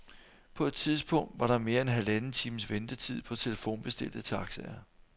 På et tidspunkt var der mere end halvanden times ventetid på telefonbestilte taxaer.